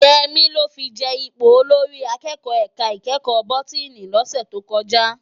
Yemi lò fi je ipó ólórì àkèkò èká ikèékò bótìní lòsè tókòjá